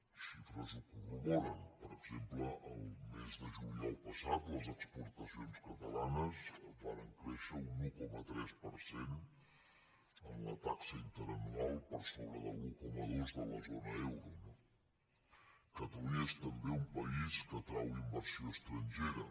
les xifres ho corroboren per exemple el mes de juliol passat les exportacions catalanes varen créixer un un coma tres per cent en la taxa interanual per sobre de l’un coma dos de la zona euro no catalunya és també un país que atrau inversió estrangera